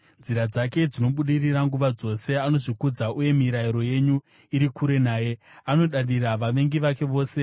Nzira dzake dzinobudirira nguva dzose; anozvikudza uye mirayiro yenyu iri kure naye; anodadira vavengi vake vose.